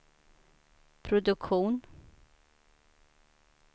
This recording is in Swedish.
produktion